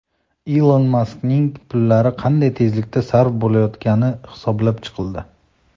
Ilon Maskning pullari qanday tezlikda sarf bo‘layotgani hisoblab chiqildi.